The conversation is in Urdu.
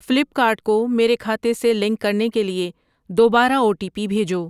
فلپ کارٹ کو میرے کھاتے سے لنک کرنے کے لیے دوبارہ او ٹی پی بھیجو۔